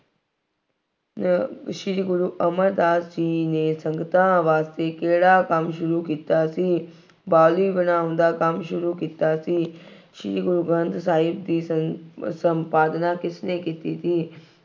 ਅਹ ਸ਼੍ਰੀ ਗੁਰੂ ਅਮਰ ਦਾਸ ਜੀ ਨੇ ਸੰਗਤਾਂ ਵਾਸਤੇ ਕਿਹੜਾ ਕੰਮ ਸ਼ੁਰੂ ਕੀਤਾ ਸੀ। ਬਾਊਲੀ ਬਣਾਉਣ ਦਾ ਕੰਮ ਸ਼ੁਰੂ ਕੀਤਾ ਸੀ। ਸ਼੍ਰੀ ਗੁਰੂ ਗ੍ਰੰਥ ਸਾਹਿਬ ਜੀ ਸਨ ਅਹ ਸੰਪਾਦਨਾ ਕਿਸਨੇ ਕੀਤੀ ਸੀ।